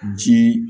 Jii